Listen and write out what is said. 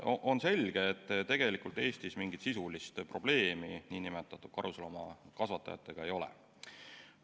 On selge, et tegelikult Eestis mingit sisulist probleemi karusloomakasvatajatega ei ole.